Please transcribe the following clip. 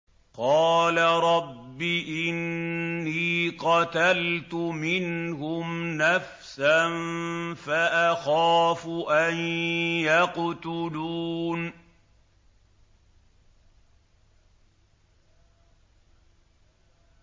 قَالَ رَبِّ إِنِّي قَتَلْتُ مِنْهُمْ نَفْسًا فَأَخَافُ أَن يَقْتُلُونِ